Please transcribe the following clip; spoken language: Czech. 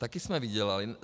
Také jsme vydělali.